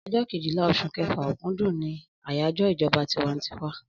Ọjọ Kejìlá osùn kefa/okundun ni ayajọ ìjọba tinwantiwa